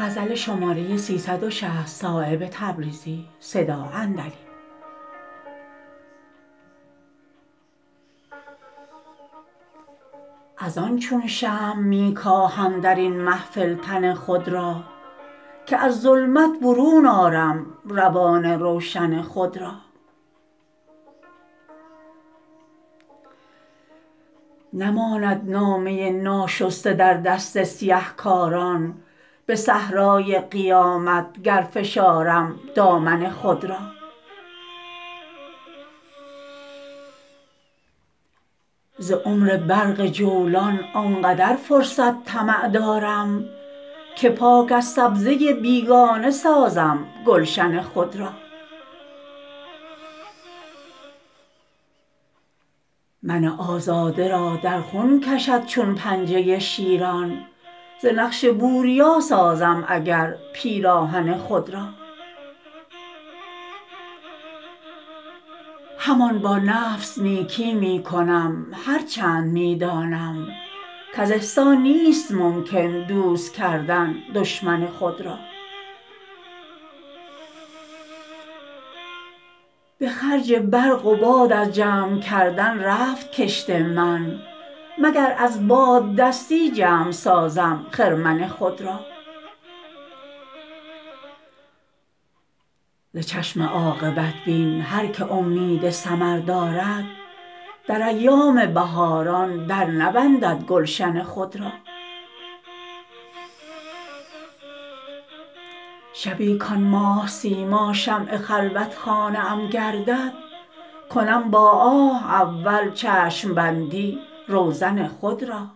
ازان چون شمع می کاهم درین محفل تن خود را که از ظلمت برون آرم روان روشن خود را نماند نامه ناشسته در دست سیه کاران به صحرای قیامت گر فشارم دامن خود را ز عمر برق جولان آن قدر فرصت طمع دارم که پاک از سبزه بیگانه سازم گلشن خود را من آزاده را در خون کشد چون پنجه شیران ز نقش بوریا سازم اگر پیراهن خود را همان با نفس نیکی می کنم هر چند می دانم کز احسان نیست ممکن دوست کردن دشمن خود را به خرج برق و باد از جمع کردن رفت کشت من مگر از باددستی جمع سازم خرمن خود را ز چشم عاقبت بین هر که امید ثمر دارد در ایام بهاران درنبندد گلشن خود را شبی کان ماه سیما شمع خلوتخانه ام گردد کنم با آه اول چشم بندی روزن خود را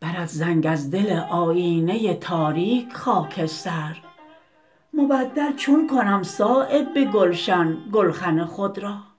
برد زنگ از دل آیینه تاریک خاکستر مبدل چون کنم صایب به گلشن گلخن خود را